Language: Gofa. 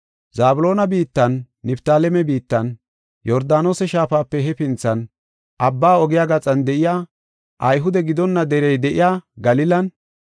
“Zabloona biittan, Niftaaleme biittan, Yordaanose Shaafape hefinthan, abba ogiya gaxan de7iya, Ayhude gidonna derey de7iya Galilan,